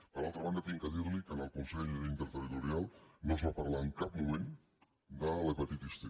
per altra banda he de dirli que en el consell interterritorial no es va parlar en cap moment de l’hepatitis c